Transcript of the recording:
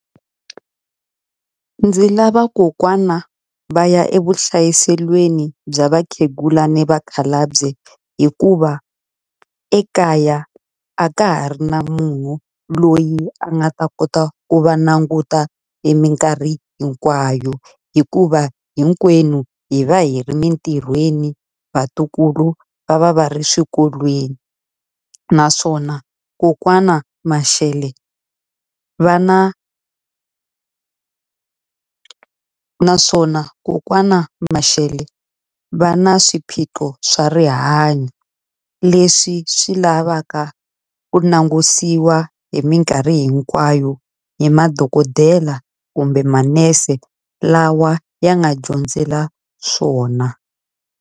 Ndzi lava kokwana va ya evuhlayiselweni bya vakhegula ni vakhalabye hikuva, ekaya a ka ha ri na munhu loyi a nga ta kota ku va languta e minkarhi hinkwayo. Hikuva hinkwenu hi va hi ri mintirhweni, vatukulu va va va ri swikolweni. Naswona kokwana Mashele va na naswona kokwana Mashele va na swiphiqo swa rihanyo leswi swi lavaka ku langutisiwa hi minkarhi hinkwayo hi madokodela kumbe manese lawa ya nga dyondzela swona.